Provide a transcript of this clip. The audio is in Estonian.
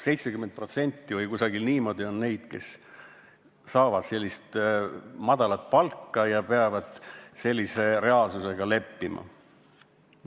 Umbes 70% on neid, kes saavad väikest palka ja peavad sellise reaalsusega leppima.